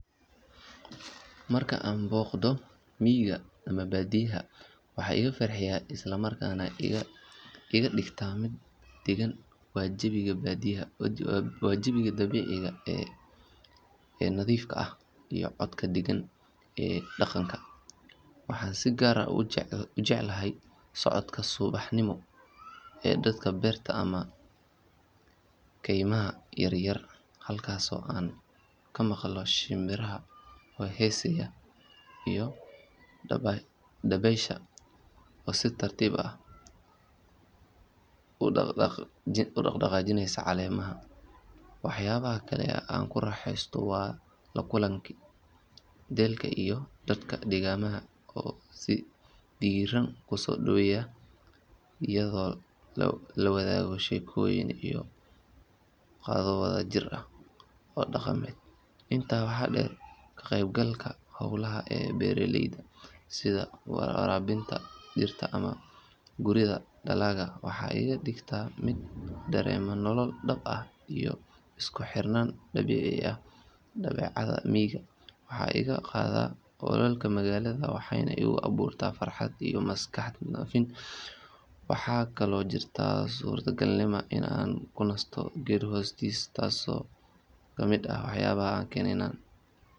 Marka aan booqdo miyiga ama baadiyaha waxa iga farxiya isla markaana iga dhigta mid degan waa jawiga dabiiciga ah ee nadiifka ah iyo codka deggan ee deegaanka. Waxaan si gaar ah u jeclahay socodka subaxnimo ee dhanka beerta ama kaymaha yar yar halkaasoo aan ka maqlo shimbiraha oo heesaya iyo dabaysha oo si tartiib ah u dhaqdhaqaajinaysa caleemaha. Waxyaabaha kale ee aan ku raaxaysto waa la kulanka ehelka iyo dadka deegaanka oo si diirran ku soo dhoweeya iyadoo la wadaago sheekooyin iyo qado wada jir ah oo dhaqameed. Intaa waxaa dheer ka qeyb galka howlaha beeraleyda sida waraabinta dhirta ama guridda dalagga waxay iga dhigtaa mid dareema nolol dhab ah iyo isku xirnaan dabiici ah. Dabeecadda miyiga waxay iga qaadaa walwalka magaalada waxayna igu abuurtaa farxad iyo maskax nadiif ah. Waxaa kaloo jirta suurtagalnimada in aan ku nasto geed hoostiis taasoo iyaduna ka mid ah waxyaabaha ii keena deganaansho.